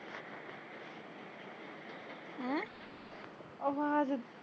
ਉਹ ਹਜੇ